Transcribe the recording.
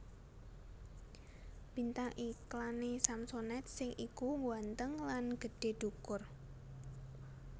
Bintang iklan e Samsonite sing iku ngguanteng lan gedhe dhukur